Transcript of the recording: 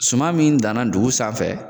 Suma min danna dugu sanfɛ